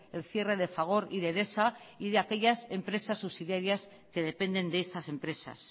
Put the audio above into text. el cierre de fagor y de edesa y de aquellas empresas subsidiarias que dependen de esas empresas